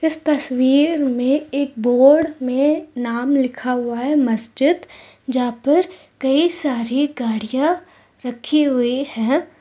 इस तस्वीर में एक बोर्ड में नाम लिखा हुआ है मस्जिद यहां कई सारी गाड़ियां रखी हुई हैं।